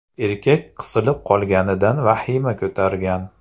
Erkak qisilib qolganidan vahima ko‘targan.